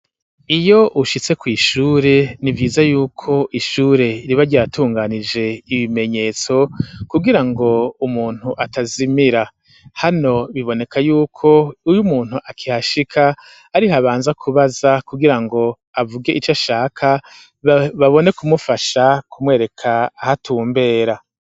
Iyo ushitse ku ishure ni vyiza yuko ishure ribaryatunganije ibimenyetso kugira ngo umuntu atazimira hano biboneka yuko uyu umuntu akihashika arih abanza kubaza kugirango avuge ico ashaka babone kumufasha kumwereka aho atumbera.